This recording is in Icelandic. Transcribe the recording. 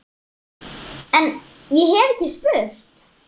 En- ég hef ekki spurt.